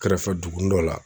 Kɛrɛfɛ dugunin dɔ la.